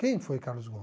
Quem foi Carlos Gomes?